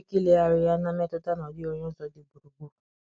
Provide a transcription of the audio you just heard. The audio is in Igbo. Onye nwere ike ilegharị ya na mmetụta na ọ dịghị onye ọzọ dị gburugburu.